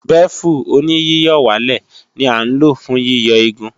Bẹ́fù-oníyíyọ̀wálẹ̀ ní à ń lò fún yíyọ igun